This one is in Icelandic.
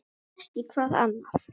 Ef ekki hvað annað?